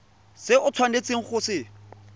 se o tshwanetseng go se